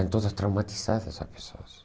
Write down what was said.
Estão todas traumatizadas as pessoas.